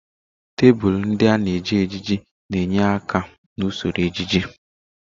Tebụl ndị a na-eji ejiji na-enyere aka n'usoro ejiji.